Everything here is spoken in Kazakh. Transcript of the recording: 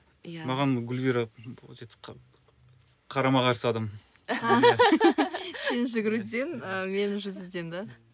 иә маған гүлвира получается қарама қарсы адам сен жүгіруден ы мен жүзуден да